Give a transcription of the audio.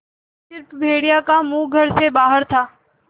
अब स़िर्फ भेड़िए का मुँह घर से बाहर था